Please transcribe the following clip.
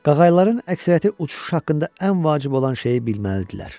Qağayıların əksəriyyəti uçuş haqqında ən vacib olan şeyi bilməlidir.